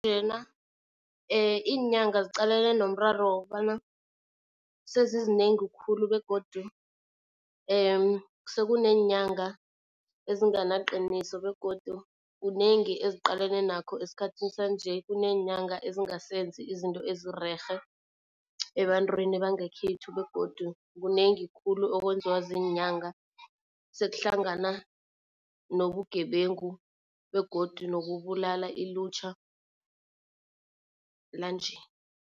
Namhlanjena Iinyanga ziqalene nomraro wokobana sezizinengi khulu begodu sekuneenyanga ezinganaqiniso, begodu kunengi eziqalene nakho esikhathi sanje. Kuneenyanga ezingasenzi izinto ezirerhe ebantwini bangekhethu begodu kunengi khulu okwenziwa ziinyanga, sekuhlangana nobugebengu begodu nokubulala ilutjha lanje.